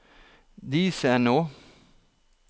Disenå